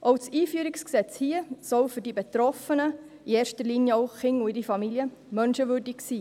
Auch das Einführungsgesetz soll hier für die Betroffenen, in erster Linie Kinder und ihre Familien, menschenwürdig sein.